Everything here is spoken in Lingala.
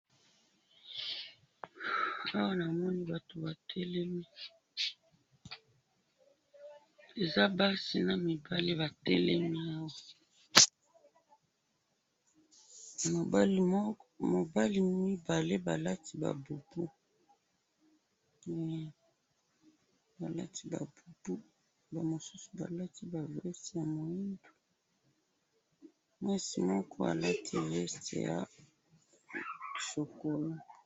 awa namoni batu batelemi eza basi na mibali batelemi awa mibali mibale balati ba bubu hei balati ba bubu ba mosusu balati ba veste ya mwindu mwasi moko alati veste ya chocolat.